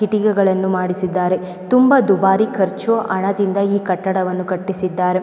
ಕಿಟಕಿಗಳನೂ ಮಾಡಿಸಿದ್ದಾರೆ ತುಂಬಾ ದುಬಾರಿ ಖರ್ಚು ಹಣದಿಂದ ಈ ಕಟ್ಟಡವನ್ನು ಕಟ್ಟಿಸಿದ್ದಾರೆ .